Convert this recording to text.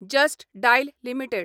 just dial limited